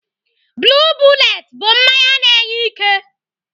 Blue bullet bụ mmanya na-enye ike.